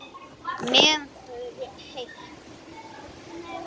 Meðan það er heitt.